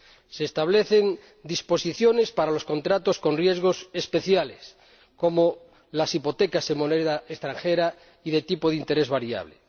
Se establecen disposiciones para los contratos con riesgos especiales, como las hipotecas en moneda extranjera y de tipo de interés variable.